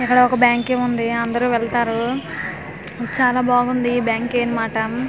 ఇక్కడ ఒక బ్యాంకి ఉంది అందరూ వెళ్తారు చాలా బాగుంది బ్యాంకి అన్మాట.